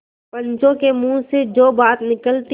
पंचों के मुँह से जो बात निकलती है